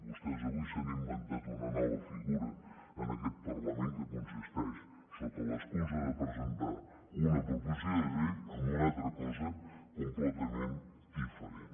vostès avui s’han inventat una nova figura en aquest parlament que consisteix sota l’excusa de presentar una proposició de llei en una altra cosa completament diferent